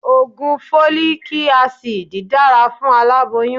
Ògùn Fólíkí asidì dára fún aláboyún.